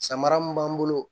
Samara mun b'an bolo